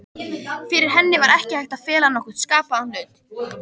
Fyrir henni var ekki hægt að fela nokkurn skapaðan hlut.